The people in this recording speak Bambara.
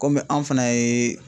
Kɔmi anw fana ye